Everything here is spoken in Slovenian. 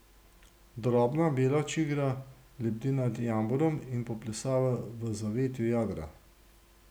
Drobna bela čigra lebdi nad jamborom in poplesava v zavetju jadra.